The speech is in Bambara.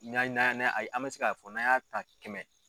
Na na n'an be se k'a fɔ n'an y'a ta kɛmɛ